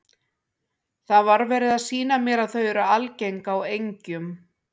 Það var verið að sýna mér að þau eru algeng á engjum.